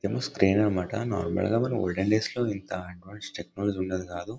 ఇదేమో అన్నమాట. నార్మల్ గా మన ఓల్డెన్ డేస్ లో ఇంత అడ్వాన్స్డ్ టెక్నాలజీ ఉండేది కాదు.